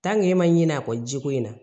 e ma ɲin'a kɔ jiko in na